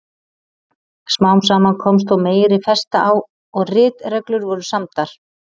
Smám saman komst þó meiri festa á og ritreglur voru samdar.